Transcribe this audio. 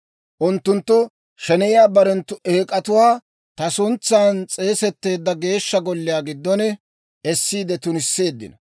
Unttunttu sheneyiyaa barenttu eek'atuwaa ta suntsan s'eesetteedda Geeshsha Golliyaa giddon essiide tunisseeddino.